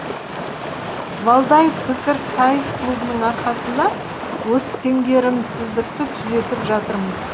валдай пікірсайыс клубының арқасында осы теңгерімсіздікті түзетіп жатырмыз